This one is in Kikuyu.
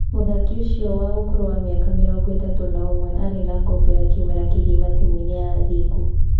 Mũthaki ũcio wa ũkũrũ wa mĩaka mĩrongo-ĩtatũ na ũmwe arĩ na ngombo ya kĩmera kĩgima timu-inĩ ya Athingu.